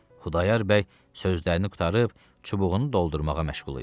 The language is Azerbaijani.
Xudayar bəy sözlərini qurtarıb, çubuğunu doldurmağa məşğul idi.